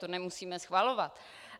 To nemusíme schvalovat.